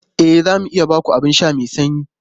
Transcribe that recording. E, za mu iya ba ku abin sha mai sanyi.